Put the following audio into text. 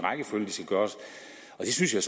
det synes jeg